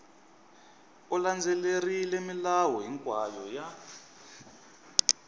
u landzelerile milawu hinkwayo ya